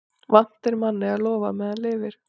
Vant er manni að lofa meðan lifir.